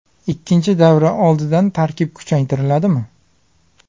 Ikkinchi davra oldidan tarkib kuchaytiriladimi?